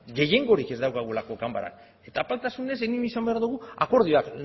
gehiengorik ez daukagulako ganbaran eta apaltasunez egin izan behar dugu akordioak